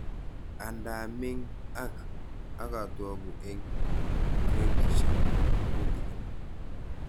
Andaa ming ak akotoku eng gradishek tutikin